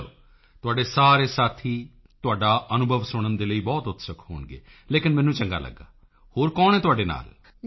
ਚਲੋ ਤੁਹਾਡੇ ਸਾਰੇ ਸਾਥੀ ਤੁਹਾਡਾ ਅਨੁਭਵ ਸੁਣਨ ਦੇ ਲਈ ਬਹੁਤ ਉਤਸੁਕ ਹੋਣਗੇ ਲੇਕਿਨ ਮੈਨੂੰ ਚੰਗਾ ਲਗਿਆ ਹੋਰ ਕੌਣ ਹੈ ਤੁਹਾਡੇ ਨਾਲ